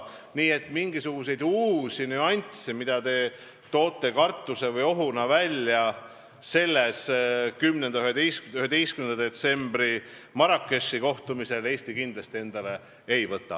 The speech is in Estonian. Nii et mingisuguseid uusi kohustusi, mis te ohuna välja tõite, 10. ja 11. detsembril Marrakechis toimuval kohtumisel Eesti kindlasti endale ei võta.